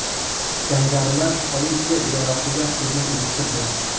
Jangarilar politsiya idorasiga hujum uyushtirdi.